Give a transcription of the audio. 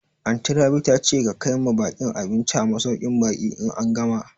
Anty Rabi ta ce ka kaima baƙin abinci a masauƙin baƙi in an gama